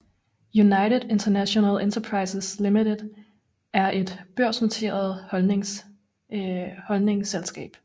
United International Enterprises Limited er et børsnoteret holdingselskab